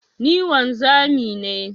Ni wanzami ne.